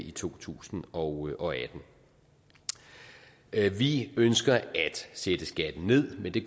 i to tusind og og atten vi i ønsker at sætte skatten ned men det